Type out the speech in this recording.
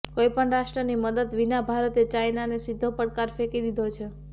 કોઇપણ રાષ્ટ્રની મદદ વિના ભારતે ચાઇનાને સીધો પડકાર ફેંકી દીધો છે